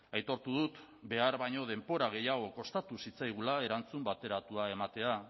aitortu dut behar baino denbora gehiago kostatu zitzaigula erantzun bateratua ematea